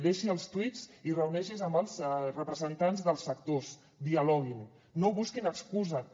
deixi els tuits i reuneixi’s amb els representants dels sectors dialoguin no busquin excuses